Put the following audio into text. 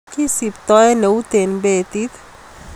Kisiptoen eut en betit.